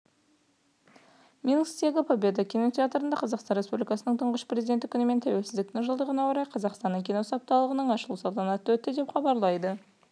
минсктегі победа кинотеатрында қазақстан республикасының тұңғыш президенті күні мен тәуелсіздіктің жылдығына орай қазақстанның киносы апталығының ашылу салтанаты өтті деп хабарлайды